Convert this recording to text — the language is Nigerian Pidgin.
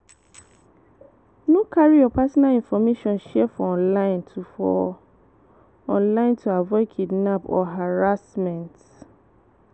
No carry your personal information share for online to for online to avoid kidnap or harassment